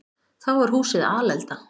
Þá var húsið alelda.